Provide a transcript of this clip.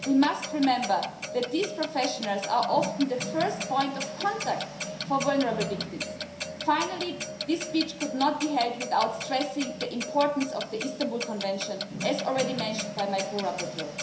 We must remember that these professionals are often the first point of contact for vulnerable victims. Finally, this speech could not be held without stressing the importance of the Istanbul Convention, as already mentioned by my co rapporteur.